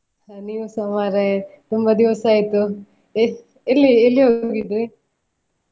ಹ ನೀವುಸ ಮಾರ್ರೆ ತುಂಬ ದಿವಸ ಆಯ್ತು ಎಲ್ಲಿ ಎಲ್ಲಿ ಹೋಗಿದ್ರಿ?